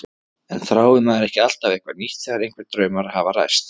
En þráir maður ekki alltaf eitthvað nýtt þegar einhverjir draumar hafa ræst?